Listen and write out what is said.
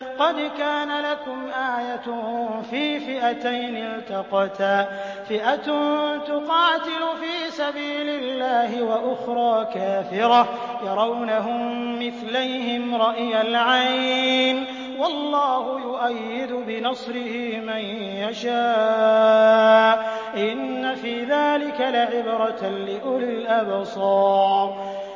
قَدْ كَانَ لَكُمْ آيَةٌ فِي فِئَتَيْنِ الْتَقَتَا ۖ فِئَةٌ تُقَاتِلُ فِي سَبِيلِ اللَّهِ وَأُخْرَىٰ كَافِرَةٌ يَرَوْنَهُم مِّثْلَيْهِمْ رَأْيَ الْعَيْنِ ۚ وَاللَّهُ يُؤَيِّدُ بِنَصْرِهِ مَن يَشَاءُ ۗ إِنَّ فِي ذَٰلِكَ لَعِبْرَةً لِّأُولِي الْأَبْصَارِ